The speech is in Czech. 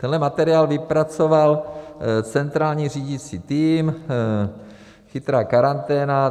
Tenhle materiál vypracoval centrální řídící tým Chytrá karanténa.